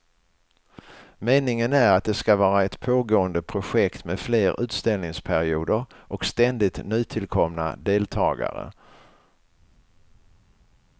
Meningen är att det ska vara ett pågående projekt med fler utställningsperioder och ständigt nytillkomna deltagare.